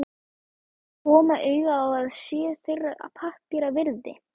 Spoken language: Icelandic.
koma auga á að sé þeirra pappíra virði.